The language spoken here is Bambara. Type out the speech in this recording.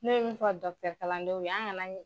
Ne be min fɔ dɔkɔtɔrɔkalanlandenw an ka na